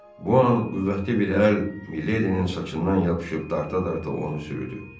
Bu an qüvvətli bir əl Miledinin saçından yapışıb dartıb o onu sürüdü.